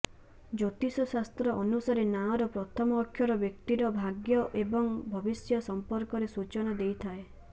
ଜ୍ୟୋତିଷ ଶାସ୍ତ୍ର ଅନୁସାରେ ନାଁର ପ୍ରଥମ ଅକ୍ଷର ବ୍ୟକ୍ତିର ଭାଗ୍ୟ ଏବଂ ଭବିଷ୍ୟ ସମ୍ପର୍କରେ ସୂଚନା ଦେଇଥାଏ ା